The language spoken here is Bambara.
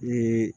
Ni